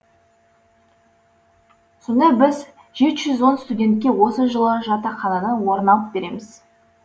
сонда біз жеті жүз он студентке осы жылы жатақханадан орын алып береміз